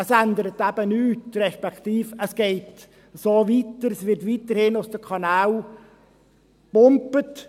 – Es ändert eben nichts, respektive es geht so weiter, es wird weiterhin aus den Kanälen gepumpt.